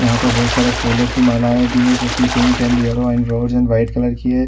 यहाँ पर बहुत सारे फूलों की माला भी है जो की pink and yellow and red and white colour की है।